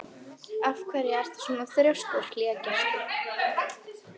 Af hverju ertu svona þrjóskur, Hlégestur?